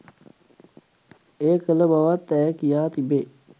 එය කළ බවත් ඇය කියා තිබේ.